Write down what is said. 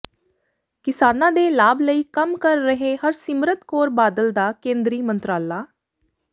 ਕਿਸਾਨਾਂ ਦੇ ਲਾਭ ਲਈ ਕੰਮ ਕਰ ਰਿਹੈ ਹਰਸਿਮਰਤ ਕੌਰ ਬਾਦਲ ਦਾ ਕੇਂਦਰੀ ਮੰਤਰਾਲਾ